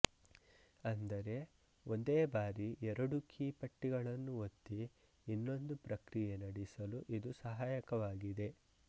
ಅಂದರೆ ಒಂದೇ ಬಾರಿ ಎರಡು ಕೀ ಪಟ್ಟಿಗಳನ್ನು ಒತ್ತಿ ಇನ್ನೊಂದು ಪ್ರಕ್ರಿಯೆ ನಡೆಸಲು ಇದು ಸಹಾಯಕವಾಗಿದೆ